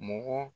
Mɔgɔ